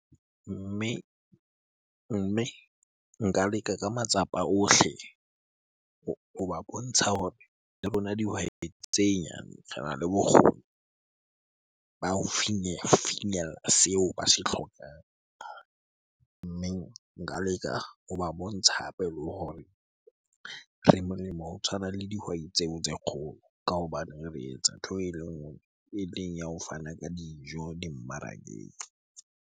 Mme nka leka ka matsapa ohle hoba bontsha hore le rona dihwai tse nyane rena le bokgoni ba ho fnyella seo ba se hlokang. Mme nka leka hoba bontsha hape le hore re molemo ho tshwana le dihwai tseo tse kgolo ka hobane re etsa ntho ele nngwe. Eleng ya ho fana ka dijo dimmarakeng.